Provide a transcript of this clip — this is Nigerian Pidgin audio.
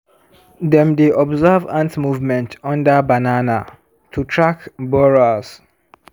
dem dey observe ant movement under banana to track borers.